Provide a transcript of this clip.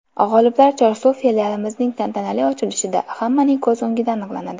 G‘oliblar Chorsu filialimizning tantanali ochilishida, hammaning ko‘z o‘ngida aniqlanadi!